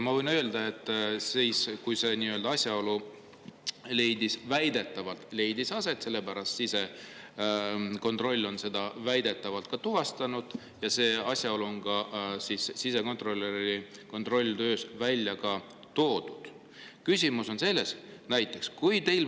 Ma võin öelda, et siis, kui see asjaolu väidetavalt aset leidis – väidetavalt on sisekontroll selle asjaolu tuvastanud ja ka sisekontrolör on selle kontrolli välja toonud –,.